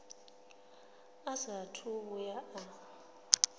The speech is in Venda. a saathu u vhuya a